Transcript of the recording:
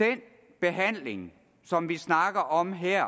den behandling som vi snakker om her